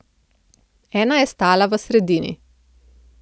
Ena je stala v sredini.